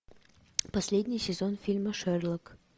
последний сезон фильма шерлок